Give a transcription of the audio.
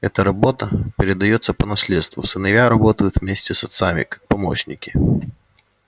эта работа передаётся по наследству сыновья работают вместе с отцами как помощники